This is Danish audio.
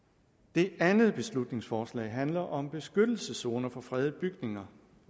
det andet beslutningsforslag handler om beskyttelseszoner for fredede bygninger